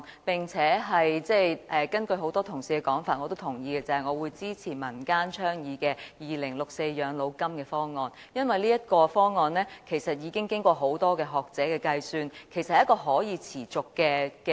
我也認同很多同事的說法，就是我支持民間倡議的2064全民養老金方案，因為這個方案經過多位學者計算，是一個可持續的方案。